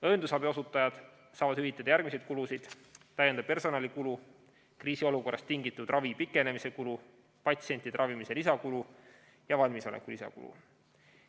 Õendusabi osutajatele saab hüvitada järgmisi kulusid: täiendav personalikulu, kriisiolukorrast tingitud ravi pikenemise kulu, patsientide ravimise lisakulu ja valmisoleku lisakulu.